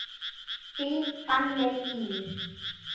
Þín Fanney Ýr.